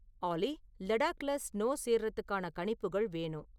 ஆல்லி லடாக்ல ஸ்னோ சேருறதுக்கான கணிப்புகள் வேணும்